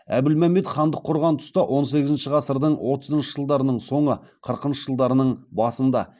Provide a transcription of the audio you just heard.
әбілмәмбет хандық құрған тұста он сегізінші ғасырдың отызыншы жылдарының соңы қырқыншы жылдарының басында